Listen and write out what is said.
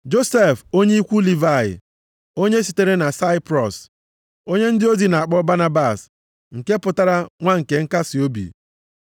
Josef onye ikwu Livayị, onye sitere na Saiprọs, onye ndị ozi na-akpọ Banabas (nke pụtara “nwa nke nkasiobi”).